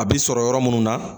A bi sɔrɔ yɔrɔ minnu na